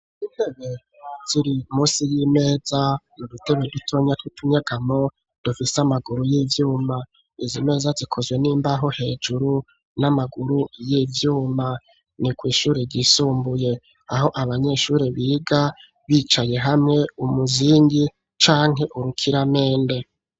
Intebe ziri munsi y'imeza mu dutebe dutonya titunyegamo dufise amaguru y'ivyuma izimeza zikozwe n'imbaho hejuru n'amaguru y'ivyuma, ni kw' ishuri ryisumbuye aho abanyeshuri biga bicaye hamwe umuzingi canke urukiramende.